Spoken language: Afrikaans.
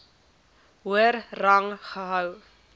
hoër rang gehou